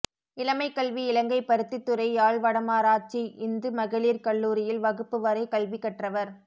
இளமைக் கல்வி Ilangai Paruthithurai Yazh Vadamarachchi Hindu மகளீர் கல்லூரியில் வகுப்பு வரை கல்வி கற்றவர்